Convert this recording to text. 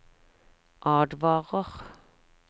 advarer